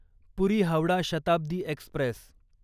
पुरी Howrah Shatabdi Express